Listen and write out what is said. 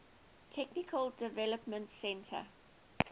technical development center